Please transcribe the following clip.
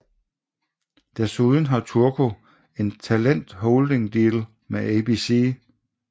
Desuden har Turco en talent holding deal med ABC